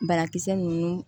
Barakisɛ ninnu